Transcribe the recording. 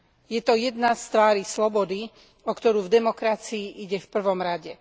Je to jedna z tvárí slobody, o ktorú v demokracii ide v prvom rade.